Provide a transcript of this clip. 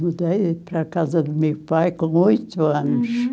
Mudei para a casa do meu pai com oito anos. Uhum.